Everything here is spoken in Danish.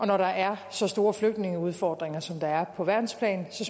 når der er så store flygtningeudfordringer som der er på verdensplan så